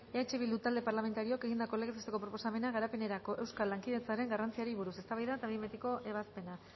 eh bildu talde parlamentarioak egindako legez besteko proposamena garapenerako euskal lankidetzaren garrantzia buruz eztabaida eta behinbetiko ebazpena